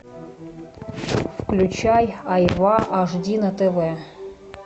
включай айва аш ди на тв